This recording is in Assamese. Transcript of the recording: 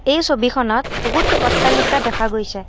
এই ছবিখনত বহুত অট্টালিকা দেখা গৈছে।